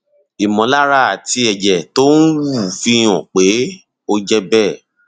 ìmọlára àti ẹjẹ tó ń wú fi hàn pé ó jẹ bẹẹ